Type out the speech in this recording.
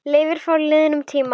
Leiftur frá liðnum tíma.